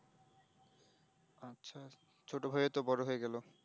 ছোট ভাই ও ত বড় হয়ে গেল